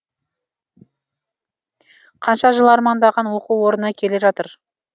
қанша жыл армандаған оқу орнына келе жатыр